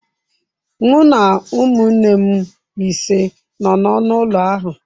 Mụ na ụmụnne m ise nọ n'ọnụ ụlọ ahụ.